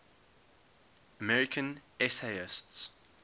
american essayists